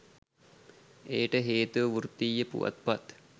එයට හේතුව වෘත්තීය පුවත්පත්